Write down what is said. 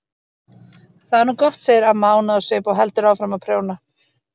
Það er nú gott, segir amma ánægð á svip og heldur áfram að prjóna.